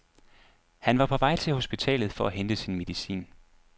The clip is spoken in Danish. Han var på vej til hospitalet for at hente sin medicin.